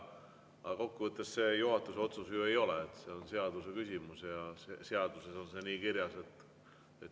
Aga kokkuvõttes see juhatuse otsus ju ei ole, see on seaduse küsimus ja seaduses on see nii kirjas.